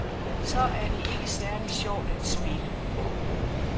Så er det ikke særlig sjovt at spille.